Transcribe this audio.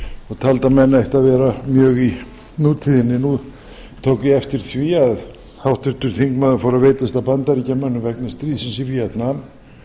og taldi að menn ættu að vera mjög í nútíðinni nú tók ég eftir því að háttvirtur þingmaður fór að veitast að bandaríkjamönnum vegna stríðsins í víetnam